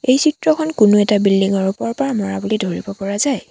এই চিত্ৰখন কোনো এটা বিল্ডিঙ ৰ ওপৰৰ পৰা মৰা বুলি ধৰিব পৰা যায়।